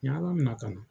N ye ala minɛ ka na